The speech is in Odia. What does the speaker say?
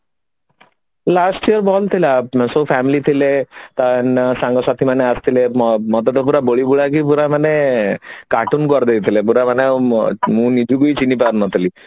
last ରେ ଭଲ ଥିଲା ସବୁ family ଥିଲେ ତ ସାଙ୍ଗ ସାଥିମାନେ ଆସିଥିଲେ ମତେ ପୁରା ମାନେ କାର୍ଟୁନ କରିଦେଇଥିଲେ ପୁରା ମାନେ ମୁଁ ନିଜକୁ ବି ଚିହ୍ନି ପାରୁନଥିଲି